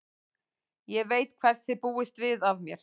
Ég veit hvers þið búist við af mér.